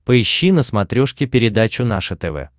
поищи на смотрешке передачу наше тв